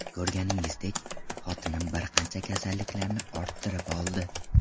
Ko‘rganingizdek, xotinim bir qancha kasalliklarni orttirib oldi.